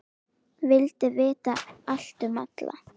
Vildi vita allt um alla.